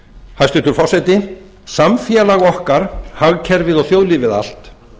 hæstvirtur forseti samfélag okkar hagkerfið og þjóðlífið allt